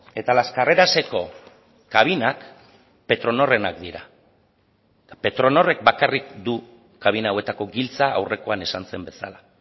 eta las carreraseko kabinak petronorrenak dira eta petronorrek bakarrik du kabina hauetako giltza aurrekoan esan zen bezala